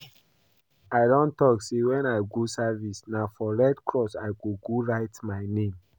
I don talk say when I go service na for redcross I go go write my name